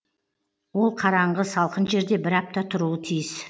ол қараңғы салқын жерде бір апта тұруы тиіс